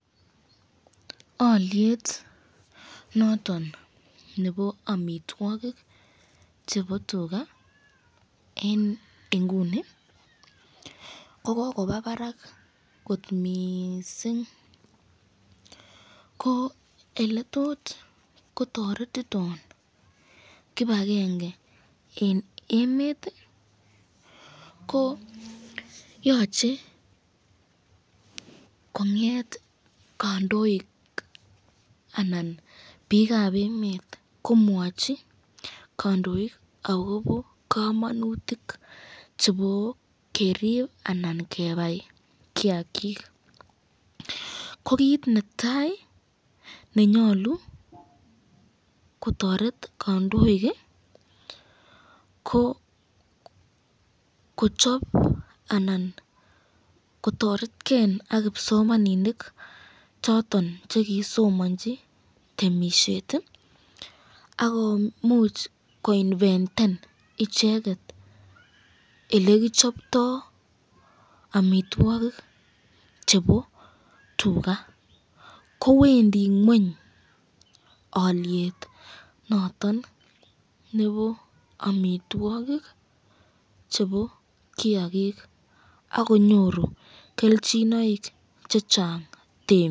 Oliet noton nebo amitwogik chebo tugaa en inguni ko kokobaa barak kot miissing koo oletot kotoretiton kipakenge en emet ii koo yoche kong'et kandoik anan biikab emet komwachi kandoik akobo kamonutik chebo kerip anan kebai kiagik ko kit netai nenyolu kotoret kandoik ii ko kochop anan kotoretge ak kipsomaninik choton chekisomanji temisiet ii akomuch koinventen icheket olekichoptoo amitwogik chebo tugak kowendi kweny alyet noton nebo amitwogik chebo kaigik akonyoru kelchinoik chechang temik.